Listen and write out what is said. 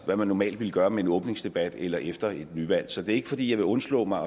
hvad man normalt ville gøre med en åbningsdebat eller efter et nyvalg så det er ikke fordi jeg vil undslå mig